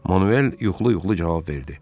Manuel yuxulu-yuxulu cavab verdi.